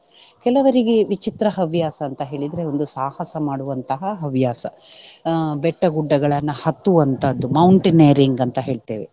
ಕೆಲವರಿಗೆ ವಿಚಿತ್ರ ಹವ್ಯಾಸ ಅಂತ ಹೇಳಿದ್ರೆ ಒಂದು ಸಾಹಸ ಮಾಡುವಂತಹ ಹವ್ಯಾಸ. ಅಹ್ ಬೆಟ್ಟಗುಡ್ಡಗಳನ್ನ ಹತ್ತುವಂತದ್ದು mountaineering ಅಂತ ಹೇಳ್ತೇವೆ.